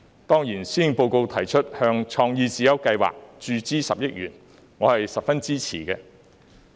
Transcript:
當然，施政報告提出向創意智優計劃注資10億元，我是十分支持的。